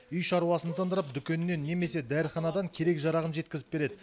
үй шаруасын тындырып дүкеннен немесе дәріханадан керек жарағын жеткізіп береді